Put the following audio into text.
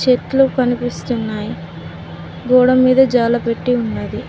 చెట్లు కనిపిస్తున్నాయి గోడ మీదే జాల పెట్టి ఉన్నది.